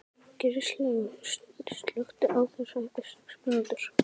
Gilslaug, slökktu á þessu eftir sex mínútur.